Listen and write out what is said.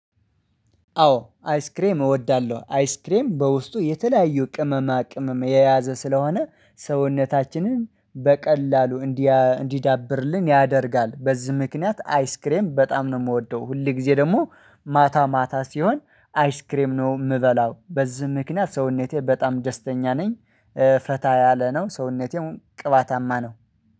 አዎ አይስክሬም እወዳለሁ አይስክሬም በውስጡ የተለያዩ ቅመማ ቅመም የያዘ ስለሆነ ሰውነታችንን በቀላሉ እንዲዳብርልን ያደርጋል በዚህ ምክንያት አይስክሬም በጣም ነው የምወደው ሁል ጊዜ ደግሞ ማታ ማታ ሲሆን አይስክሬም ነው ምበላው በዚህ ምክንያት ሰውነቴ በጣም ደስተኛ ነኝ። ፈታ ያለ ነው ሰውነቴም ቅባታማ ነው።